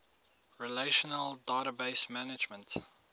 relational database management